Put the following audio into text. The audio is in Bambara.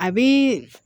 A bi